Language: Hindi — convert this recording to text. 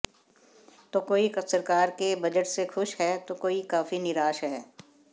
तो कोई सरकार के बजट से खुश है तो कोई काफी निराश है